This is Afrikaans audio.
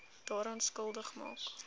daaraan skuldig maak